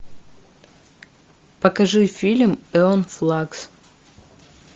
покажи фильм эон флакс